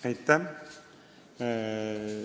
Aitäh!